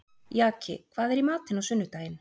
Jaki, hvað er í matinn á sunnudaginn?